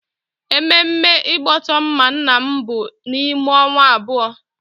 Ememme igboto mma nna m bụ n'ime onwa abuo